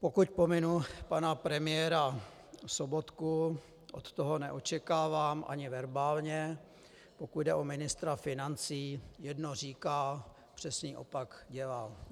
Pokud pominu pana premiéra Sobotku - od toho neočekávám ani verbálně, pokud jde o ministra financí, jedno říká, přesný opak dělá.